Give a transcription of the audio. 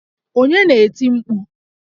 Onye na-eti mkpu?